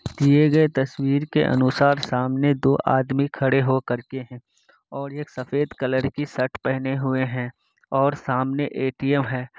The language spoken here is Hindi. ये जो तस्वीर के अनुसार सामने दो आदमी खडे हो करके हे । और ये सफ़ेद कलर की शर्ट पेहने हुए है। और सामने ए_टी_एम है।